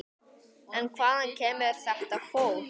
En hvaðan kemur þetta fólk?